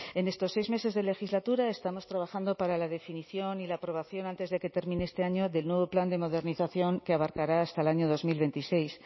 en estos seis meses de legislatura estamos trabajando para la definición y la aprobación antes de que termine este año del nuevo plan de modernización que abarcará hasta el año dos mil veintiséis